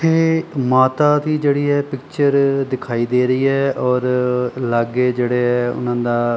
ਇਹ ਮਾਤਾ ਦੀ ਜਿਹੜੀ ਇਹ ਪਿਕਚਰ ਦਿਖਾਈ ਦੇ ਰਹੀ ਹੈ ਔਰ ਲਾਗੇ ਜਿਹੜੇ ਹੈ ਓਹਨਾਂ ਦਾ --